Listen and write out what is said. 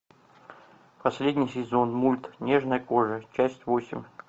последний сезон мульт нежная кожа часть восемь